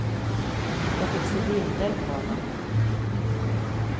Jag fick se bilder på honom.